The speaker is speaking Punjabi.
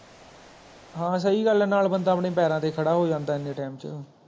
ਹਾਂ ਸਹੀ ਗੱਲ ਹੈ ਨਾਲ ਬੰਦਾ ਆਪਣੇ ਪੈਰਾਂ ਤੇ ਖੜਾ ਹੋ ਜਾਂਦਾ ਇਹਨੇ Time ਚ